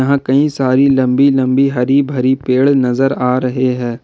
यहां कई सारी लंबी लंबी हरी भारी पेड़ नजर आ रहे है।